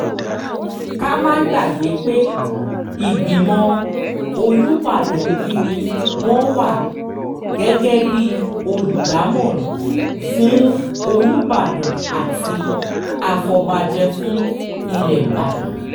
ká má gbàgbé pé ìgbìmọ̀ olùbàdàn yìí ni wọ́n wà gẹ́gẹ́ bíi olùdámọ̀ràn fún olùbàdàn àti àfọ̀bàjẹ́ fún ilẹ̀ ìbàdàn